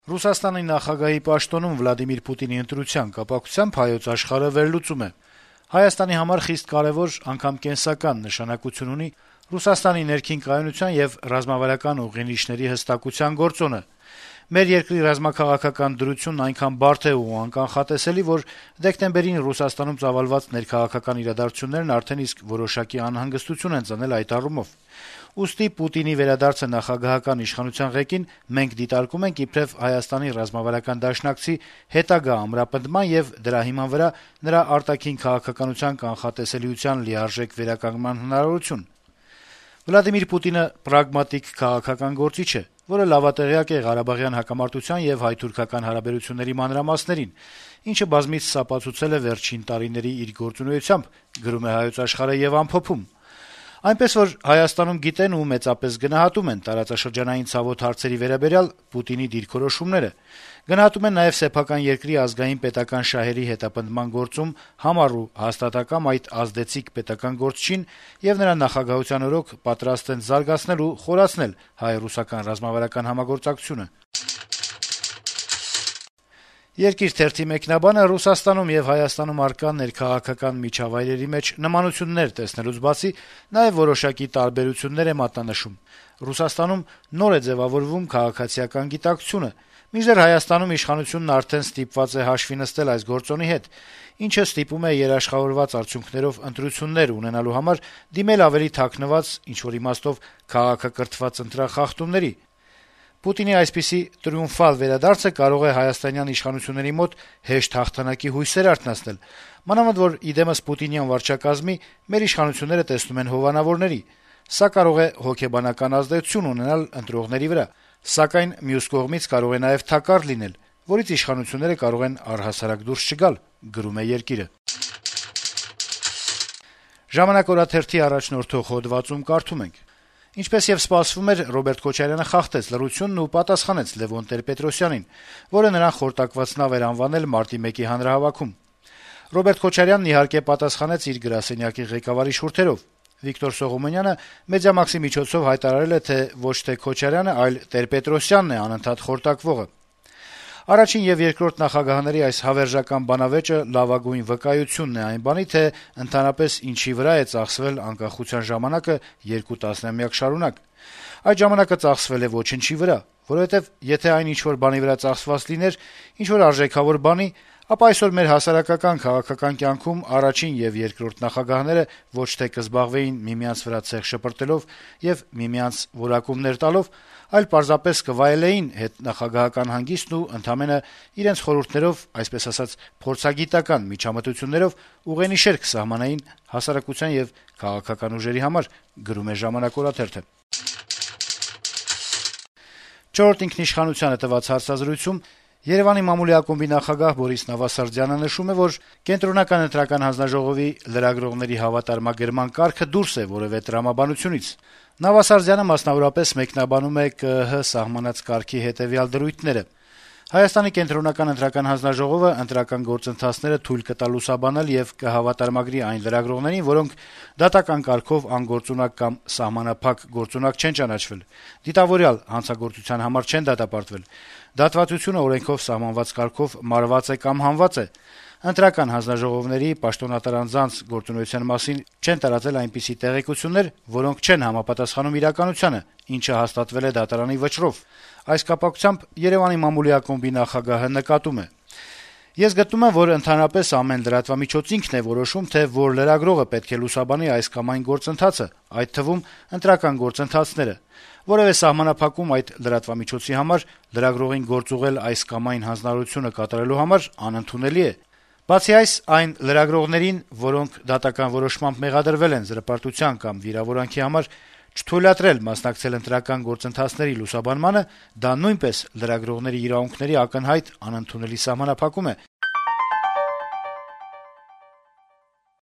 Ռուսաստանի նախագահի պաշտոնում Վլադիմիր Պուտինի ընտրության կապակցությամբ «Հայոց աշխարհը» վերլուծում է. - «Հայաստանի համար խիստ կարեւոր, անգամ կենսական նշանակություն ունի Ռուսաստանի ներքին կայունության եւ ռազմավարական ուղենիշերի հստակության գործոնը։ Մեր երկրի ռազմաքաղաքական դրությունն այնքան բարդ է ու անկանխատեսելի, որ դեկտեմբերին Ռուսաստանում ծավալված ներքաղաքական իրադարձություններն արդեն իսկ որոշակի անհանգստություն են ծնել այդ առումով։ Ուստի Պուտինի վերադարձը նախագահական իշխանության ղեկին մենք դիտարկում ենք իբրեւ Հայաստանի ռազմավարական դաշնակցի հետագա ամրապնդման եւ դրա հիման վրա նրա արտաքին քաղաքականության կանխատեսելիության լիարժեք վերականգնման հնարավորություն։ Պուտինը պրագմատիկ քաղաքական գործիչ է, որը լավատեղյակ է Ղարաբաղյան հակամարտության եւ հայ-թուրքական հարաբերությունների մանրամասներին, ինչը բազմիցս ապացուցել է վերջին տարիների իր գործունեությամբ։ Այնպես որ Հայաստանում գիտեն ու մեծապես գնահատում են տարածաշրջանային ցավոտ հարցերի վերաբերյալ Վլադիմիր Պուտինի դիրքորոշումները։ Գնահատում են նաեւ սեփական երկրի ազգային-պետական շահերի հետապնդման գործում համառ ու հաստատակամ այդ ազդեցիկ պետական գործչին եւ նրա նախագահության օրոք պատրաստ են զարգացնել ու խորացնել հայ-ռուսական ռազմավարական համագործակցությունը»: «Երկիր» թերթի մեկնաբանը Ռուսաստանում եւ Հայաստանում առկա ներքաղաքական միջավայրերի մեջ նմանություններ տեսնելուց բացի նաեւ որոշակի տարբերություններ է մատնանշում. - «Ռուսաստանում նոր է ձեւավորվում քաղաքացիական գիտակցությունը, մինչդեռ Հայաստանում իշխանությունն արդեն ստիպված է հաշվի նստել այս գործոնի հետ, ինչն ստիպում է երաշխավորված արդյունքներով ընտրություններ ունենալու համար դիմել ավելի քաղաքակրթված ընտրախախտումների: Պուտինի այսպիսի տրիումֆալ վերադարձը կարող է հայաստանյան իշխանությունների մոտ հեշտ հաղթանակի հույսեր արթնացնել, մանավանդ որ, ի դեմս պուտինյան վարչակազմի` մեր իշխանությունները տեսնում են հովանավորների: Սա կարող է հոգեբանական ազդեցություն ունենալ ընտրողների վրա, սակայն մյուս կողմից կարող է նաեւ թակարդ լինել, որից իշխանությունները կարող են առհասարակ դուրս չգալ»: «Ժամանակ» օրաթերթի առաջնորդող հոդվածում կարդում ենք. - «Ինչպես եւ սպասվում էր, Ռոբերտ Քոչարյանը խախտեց լռությունն ու պատասխանեց Լեւոն Տեր-Պետրոսյանին, որը նրան խորտակված նավ էր անվանել մարտի 1-ի հանրահավաքում: Ռոբերտ Քոչարյանն իհարկե պատասխանեց իր գրասենյակի ղեկավարի շուրթերով: Վիկտոր Սողոմոնյանը «Մեդիամաքսի» միջոցով հայտարարել է, թե ոչ թե Քոչարյանը, այլ Տեր-Պետրոսյանն է անընդհատ խորտակվողը: Առաջին եւ երկրորդ նախագահների այս հավերժական բանավեճը լավագույն վկայությունն է այն բանի, թե ընդհանրապես ինչի վրա է ծախսվել անկախության ժամանակը երկու տասնամյակ շարունակ: Այդ ժամանակը ծախսվել է ոչնչի վրա, որովհետեւ եթե այն ինչ-որ բանի վրա ծախսված լիներ` ինչ-որ արժեքավոր բանի, ապա այսօր մեր հասարակական-քաղաքական կյանքում առաջին եւ երկրորդ նախագահները ոչ թե կզբաղվեին միմյանց վրա ցեխ շպրտելով եւ միմյանց որակումներ տալով, այլ պարզապես կվայելեին հետնախագահական հանգիստն ու ընդամենը իրենց խորհուրդներով, այսպես ասած` փորձագիտական միջամտություններով ուղենիշեր կսահմանեին հասարակության եւ քաղաքական ուժերի համար»: «Չորրորդ ինքնիշխանությանը» տված հարցազրույցում Երեւանի մամուլի ակումբի նախագահ Բորիս Նավասարդյանը նշում է, որ Կենտրոնական ընտրական հանձնաժողովի` լրագրողների հավատարմագրման կարգը դուրս է որեւէ տրամաբանությունից: Նավասարդյանը, մասնավորապես մեկնաբանում է ԿԸՀ սահմանած կարգի հետեւյալ դրույթները` Կենտրոնական ընտրական հանձնաժողովը ընտրական գործընթացները թույլ կտա լուսաբանել եւ կհավատարմագրի այն լրագրողներին, որոնք` դատական կարգով անգործունակ կամ սահմանափակ գործունակ չեն ճանաչվել, դիտավորյալ հանցագործության համար չեն դատապարտվել, դատվածությունը օրենքով սահմանված կարգով մարված է կամ հանված է, ընտրական հանձնաժողովի (պաշտոնատար անձանց) գործունեության մասին չեն տարածել այնպիսի տեղեկություններ, որոնք չեն համապատասխանում իրականությանը (ինչը հաստատվել է դատարանի վճռով): Այս կապակցությամբ Երեւանի մամուլի ակումբի նախագահը նկատում է. - «Ես գտնում եմ, որ ընդհանրապես ամեն լրատվամիջոց ինքն է որոշում, թե որ լրագրողը պետք է լուսաբանի այս կամ այն գործընթացը, այդ թվում` ընտրական գործընթացները. որեւէ սահմանափակում այդ լրատվամիջոցի համար` լրագրողին գործուղել այս կամ այն հանձնարարությունը կատարելու համար, անընդունելի է: Բացի այս, այն լրագրողներին, որոնք դատական որոշմամբ մեղադրվել են զրպարտության կամ վիրավորանքի համար, չթույլատրել մասնակցել ընտրական գործընթացների լուսաբանմանը` դա նույնպես լրագրողների իրավունքների ակնհայտ, անընդունելի սահմանափակում է»: